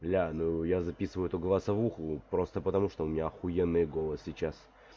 бля ну я записываю эту голосовуху просто потому что у меня ахуенный голос сейчас